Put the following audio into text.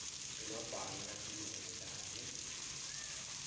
bemabhange latimele kanye